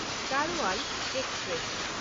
Garhwal express